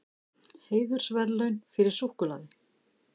Heiðursverðlaun fyrir súkkulaði